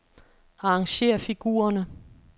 Arrangér figurerne.